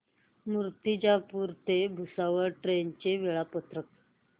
मूर्तिजापूर ते भुसावळ ट्रेन चे वेळापत्रक